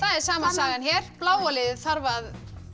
er sama sagan hér bláa liðið þarf að